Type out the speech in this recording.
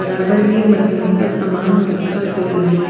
बराबर में मरम्मत का सामान रखा गया है।